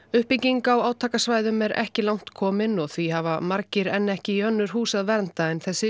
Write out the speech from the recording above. uppbygging á átakasvæðum er ekki langt komin og því hafa margir enn ekki í önnur hús að venda en þessi